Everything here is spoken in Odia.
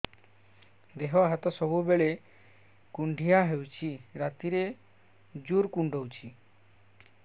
ଦେହ ହାତ ସବୁବେଳେ କୁଣ୍ଡିଆ ହଉଚି ରାତିରେ ଜୁର୍ କୁଣ୍ଡଉଚି